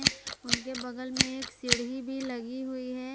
उनके बगल में एक सीढी भी लगी हुई है।